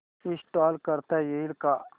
install करता येईल का